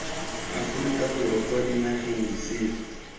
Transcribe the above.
aforika borwa kwa dinageng disele